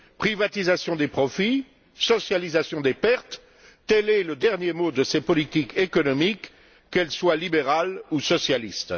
Privatisation des profits, socialisation des pertes, tel est le dernier mot de ces politiques économiques, qu'elles soient libérales ou socialistes.